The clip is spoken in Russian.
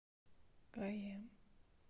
гаем